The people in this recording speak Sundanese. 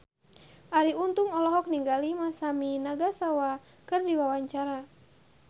Arie Untung olohok ningali Masami Nagasawa keur diwawancara